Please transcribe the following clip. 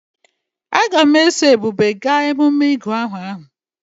Aga m eso Ebube gaa emume ịgụ aha ahụ.